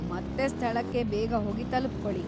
ಮತ್ತೆ ಸ್ಥಳಕ್ಕೆ ಬೇಗ ಹೋಗಿ ತಲುಪ್ಕೊಳಿ.